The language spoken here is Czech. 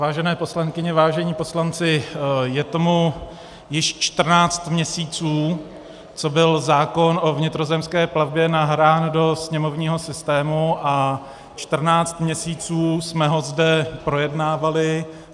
Vážené poslankyně, vážení poslanci, je tomu již 14 měsíců, co byl zákon o vnitrozemské plavbě nahrán do sněmovního systému, a 14 měsíců jsme ho zde projednávali.